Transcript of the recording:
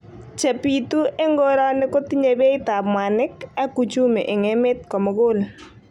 Chepitu eng koroni kotinyei beit ap mwanik.ak Uchumi eng emet komugul